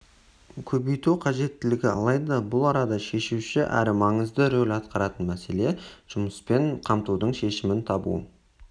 көбейту қажеттігі алайда бұл арада шешуші әрі маңызды рөл атқаратын мәселе жұмыспен қамтудың шешімін табу